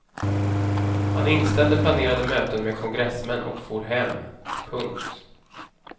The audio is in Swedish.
Han inställde planerade möten med kongressmän och for hem. punkt